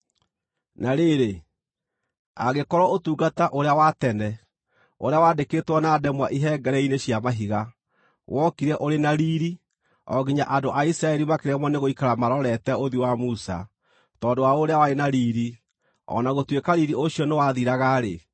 Na rĩrĩ, angĩkorwo ũtungata ũrĩa wa tene, ũrĩa wandĩkĩtwo na ndemwa ihengere-inĩ cia mahiga, wokire ũrĩ na riiri, o nginya andũ a Isiraeli makĩremwo nĩgũikara marorete ũthiũ wa Musa tondũ wa ũrĩa warĩ na riiri, o na gũtuĩka riiri ũcio nĩwathiraga-rĩ,